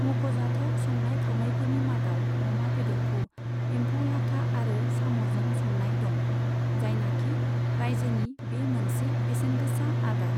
मख'जाथाव संनाय खावनायफोरनि मादाव अमा बेदरखौ एम्फौ लाथा आरो साम'जों संनाय दं, जायनाखि राज्योनि बे मोनसे बेसेनगोसा आदार।